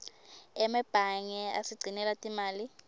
emebange asigcinela timali